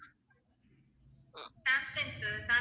Samsung sir